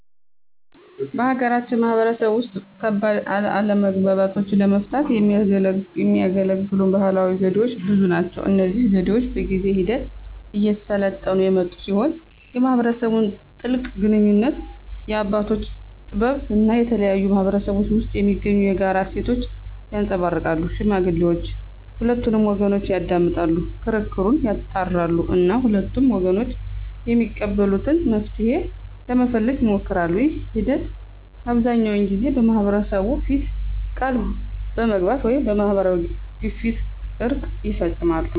በሀገራችን ማህበረሰብ ውስጥ ከባድ አለመግባባቶችን ለመፍታት የሚያገለግሉ ባህላዊ ዘዴዎች ብዙ ናቸው። እነዚህ ዘዴዎች በጊዜ ሂደት እየሰለጠኑ የመጡ ሲሆን የማህበረሰቡን ጥልቅ ግንኙነት፣ የአባቶችን ጥበብ እና የተለያዩ ማህበረሰቦች ውስጥ የሚገኙ የጋራ እሴቶችን ያንፀባርቃሉ። ሽማግሌዎች ሁለቱንም ወገኖች ያዳምጣሉ፣ ክርክሩን ያጣራሉ እና ሁለቱም ወገኖች የሚቀበሉትን መፍትሄ ለመፈለግ ይሞክራሉ። ይህ ሂደት አብዛኛውን ጊዜ በማህበረሰቡ ፊት ቃል በመግባት ወይም በማህበራዊ ግፊት እርቅ ይፈፀማል።